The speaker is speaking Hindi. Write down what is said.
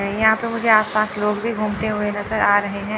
यहां पे मुझे आसपास लोग भी घूमते हुए नजर आ रहे हैं।